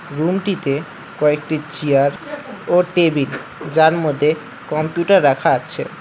রুমটিতে কয়েকটি চিয়ার ও টেবিল যার মদ্যে কম্পিউটার রাখা আছে।